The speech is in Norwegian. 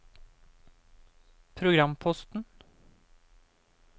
programposten